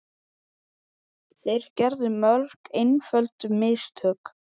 Þeir gerðu mörg einföld mistök.